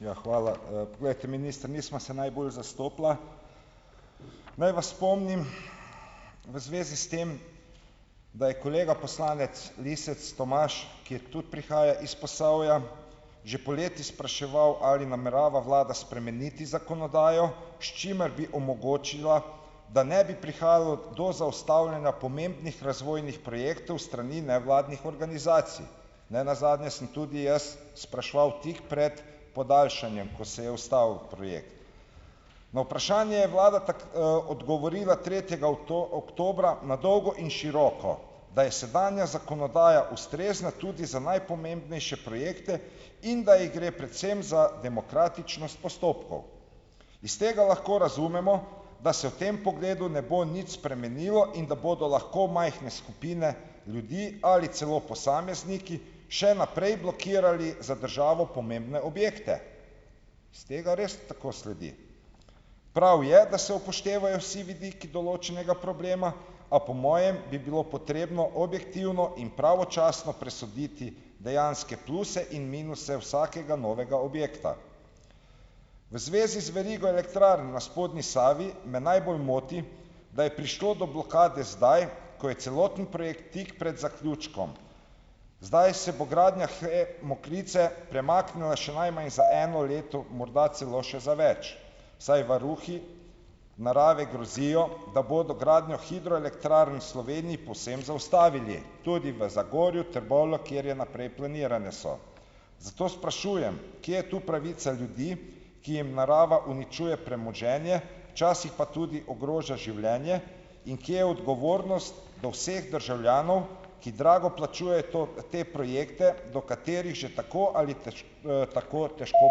Ja, hvala. glejte, minister, nisva se najbolj zastopila. Naj vas spomnim v zvezi s tem, da je kolega poslanec Lisec Tomaž, ki je tudi prihaja iz Posavja, že poleti spraševal ali namerava vlada spremeniti zakonodajo, s čimer bi omogočila, da ne bi prihajalo do zaustavljanja pomembnih razvojnih projektov s strani nevladnih organizacij. Nenazadnje sem tudi jaz spraševal tik pred podaljšanjem, ko se je ustavil projekt. Na vprašanje je vlada odgovorila tretjega oktobra na dolgo in široko, da je sedanja zakonodaja ustrezna tudi za najpomembnejše projekte in ga ji gre predvsem za demokratičnost postopkov. Iz tega lahko razumemo, da se v tem pogledu ne bo nič spremenilo in da bodo lahko majhne skupine ljudi ali celo posamezniki še naprej blokirali za državo pomembne objekte. Iz tega res tako sledi. Prav je, da se upoštevajo vsi vidiki določenega problema, a po mojem bi bilo potrebno objektivno in pravočasno presoditi dejanske pluse in minuse vsakega novega objekta. V zvezi z verigo elektrarn na spodnji Savi me najbolj moti, da je prišlo do blokade zdaj, ko je celoten projekt tik pred zaključkom. Zdaj se bo gradnja HE Mokrice premaknila še najmanj za eno leto , morda celo še za več, saj varuhi narave grozijo, da bodo gradnjo hidroelektrarn v Sloveniji povsem zaustavili. Tudi v Zagorju, Trbovljah, kjer naprej planirane so. Zato sprašujem, kje je tu pravica ljudi, ki jim narava uničuje premoženje, včasih pa tudi ogroža življenje in kje odgovornost do vseh državljanov, ki drago plačuje te projekte, do katerih že tako ali tako težko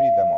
pridemo .